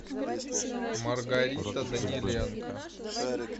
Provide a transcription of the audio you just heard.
маргарита даниленко